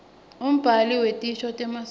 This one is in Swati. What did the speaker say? umbhali wetisho temaswati